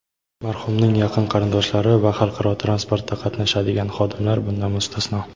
marhumning yaqin qarindoshlari va xalqaro transportda qatnashadigan xodimlar bundan mustasno.